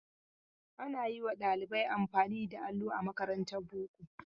Ana yi wa ɗalibai amfani da allo a makarantar boko.